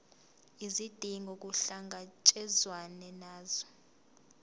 izidingo kuhlangatshezwane nazo